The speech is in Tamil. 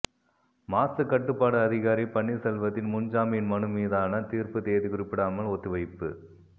மாசு கட்டுப்பாடு அதிகாரி பன்னீர்செல்வத்தின் முன்ஜாமீன் மனு மீதான தீர்ப்பு தேதி குறிப்பிடாமல் ஒத்திவைப்பு